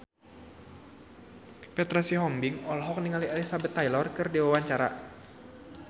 Petra Sihombing olohok ningali Elizabeth Taylor keur diwawancara